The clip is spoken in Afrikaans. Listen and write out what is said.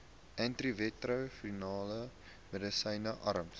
antiretrovirale medisyne arms